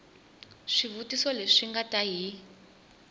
swivutiso leswi nga ta yi